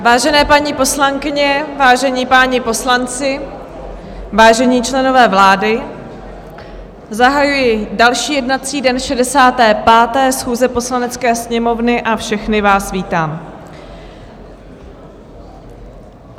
Vážené paní poslankyně, vážení páni poslanci, vážení členové vlády, zahajuji další jednací den 65. schůze Poslanecké sněmovny a všechny vás vítám.